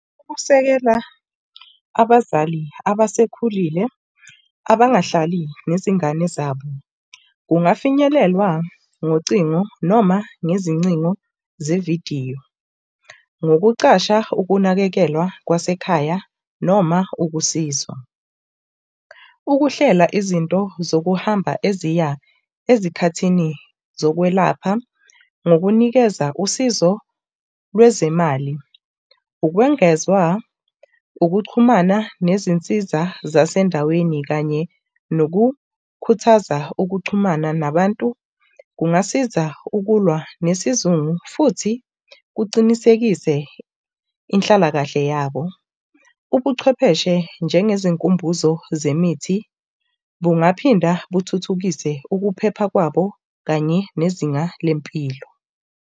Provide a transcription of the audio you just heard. Ukusekela abazali abasekhulile, abangahlali nezingane zabo kungafinyelelwa ngocingo noma ngezincingo zevidiyo. Ngokucasha ukunakekelwa kwasekhaya noma ukusizwa. Ukuhlela izinto zokuhamba eziya ezikhathini zokwelapha ngokunikeza usizo lwezemali, ukwengezwa, ukuxhumana nezinsiza zasendaweni kanye nokhuthaza nokuxhumana nabantu kungasiza ukulwa nesizungu futhi kuqinisekise inhlalakahle yabo. Ubuchwepheshe njengezinkumbuzo zemithi, bungaphinda buthuthukise ukuphepha kwabo kanye nezinga lempilo.